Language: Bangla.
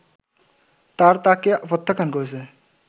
তার তাকে প্রত্যাখ্যান করেছে”